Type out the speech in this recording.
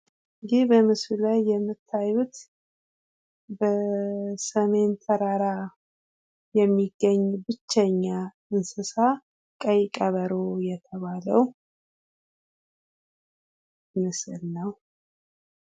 ይህ በምስሉ ላይ የምታዩ የሰሜን ተራራ የሚገኝ ብቸኛ እንስሳ ቀይ ቀበሮ የተባለው ምስል ነው።